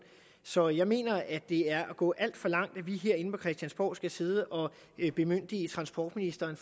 så jeg mener at det er at gå alt for langt at vi herinde på christiansborg skal sidde og bemyndige transportministeren